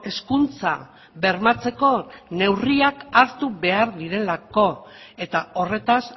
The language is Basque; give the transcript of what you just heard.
hezkuntza bermatzeko neurriak hartu behar direlako eta horretaz